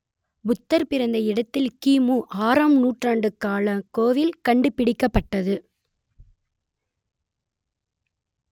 புத்தர் பிறந்த இடத்தில் கிமு ஆறாம் நூற்றாண்டு காலக் கோவில் கண்டுபிடிக்கப்பட்டது